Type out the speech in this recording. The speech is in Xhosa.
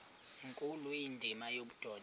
nkulu indima yobudoda